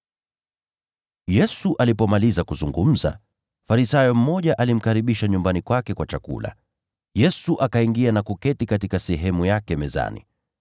Yesu alipomaliza kuzungumza, Farisayo mmoja alimwalika nyumbani mwake kwa chakula. Yesu akaingia na kuketi katika sehemu yake mezani.